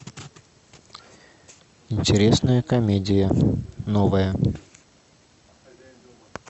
интересная комедия новая